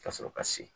Ka sɔrɔ ka se